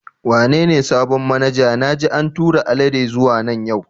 Wane ne sabon manaja na ji an tura Alade zuwa nan yau?